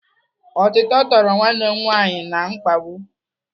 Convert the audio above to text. Otito toro nwanne m nwaanyị na mkpabụ.